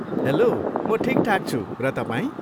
Hello, म ठिकठाक छु, र तपाईँ?